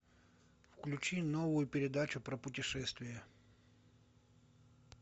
включи новую передачу про путешествия